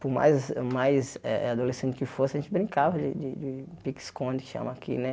por mais mais eh adolescente que fosse, a gente brincava de de pique-esconde, que chama aqui, né?